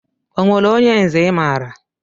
Onwere onye nze I maara?